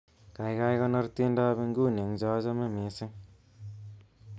Kaikai konor tiendoab nguni eng chochame mising'